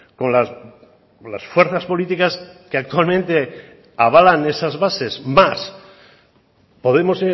con las fuerzas políticas que actualmente avalan esas bases más podemos